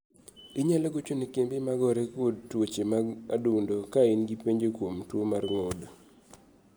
Inyalo gocho ne kembe magore kod tuoche mag adundo ka in gi penjo kuom tuo mar gund